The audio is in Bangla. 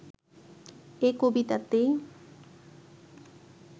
এ কবিতাতেই